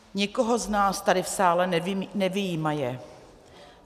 Nikoho z nás tady v sále nevyjímaje.